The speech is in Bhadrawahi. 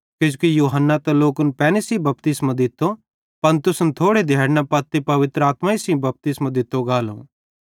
किजोकि यूहन्ना त लोकन पैनी सेइं बपतिस्मो दित्तो पन तुसन थोड़े दिहैड़ना पत्ती पवित्र आत्मा सेइं बपतिस्मो दित्तो गालो यानी परमेशर पवित्र आत्मा भेज़ेलो ज़ै तुसन सेइं साथी रालो